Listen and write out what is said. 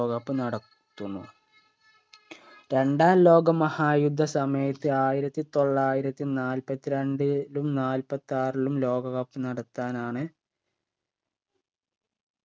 ലോകകപ്പ് നടത്തുന്നു രണ്ടാം ലോകമഹായുദ്ധ സമയത്ത് ആയിരത്തി തൊള്ളായിരത്തി നാൽപ്പത്രണ്ടിലും നാല്പത്താറിലും ലോക cup നടത്താനാണ്